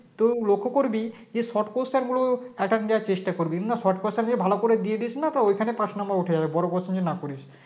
তুই লক্ষ করবি যে Short question গুলো attend করার চেষ্টা করবি না short question যদি ভালো করে দিয়ে দিস না তো ওখানেই পাশ number উঠে যাবে বড় প্রশ্ন না করিস